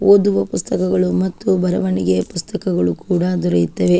ಓದುವ ಪುಸ್ತಕಗಳು ಮತ್ತು ಬರವಣಿಗೆಯ ಪುಸ್ತಕಗಳು ಕೂಡ ದೊರೆಯುತ್ತವೆ.